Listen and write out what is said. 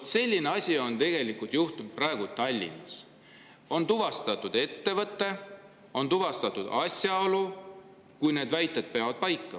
" Vot selline asi on tegelikult juhtunud praegu Tallinnas – on tuvastatud ettevõte, on tuvastatud asjaolu –, kui need väited peavad paika.